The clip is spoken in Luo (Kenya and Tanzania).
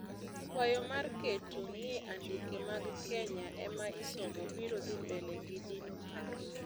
Kwayo mar keto ni andike mag Kenya ema isomo biro dhi mbele gi dino paro.